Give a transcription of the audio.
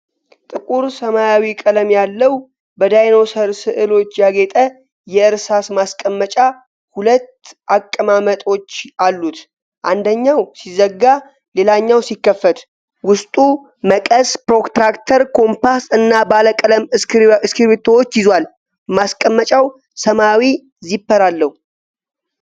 ጥቁር ሰማያዊ ቀለም ያለው፣ በዳይኖሰር ስዕሎች ያጌጠ የእርሳስ ማስቀመጫ ሁለት አቀማመጦች አሉት። አንደኛው ሲዘጋ ሌላኛው ሲከፈት፣ ውስጡ መቀስ፣ ፕሮትራክተር፣ ኮምፓስ እና ባለቀለም እስክሪብቶዎችን ይዟል። ማሰቀመጫው ሰማያዊ ዚፐር አለው።